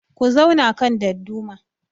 Ku zauna kan dadduma